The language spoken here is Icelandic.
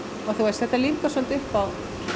þetta lífgar svolítið upp á